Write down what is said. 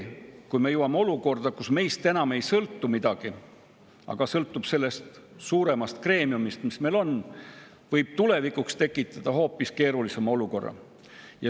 Kui meist ei sõltu enam midagi, vaid kõik sõltub sellest suuremast greemiumist, siis võib see tulevikus tekitada hoopis keerulisema olukorra.